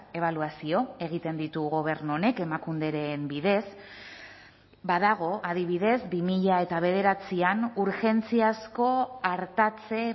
ebaluazio egiten ditu gobernu honek emakunderen bidez badago adibidez bi mila bederatzian urgentziazko artatze